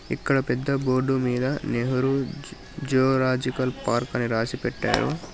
ఇక్కడ పెద్ద బోర్డు మీద నెహ్రు జూలోజికల్ పార్క్ అని రాసి పెట్టారు.